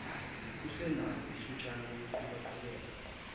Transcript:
usenalo ithutshana lokuqhubaqhubeka